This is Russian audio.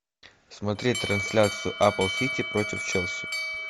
смотреть трансляцию апл сити против челси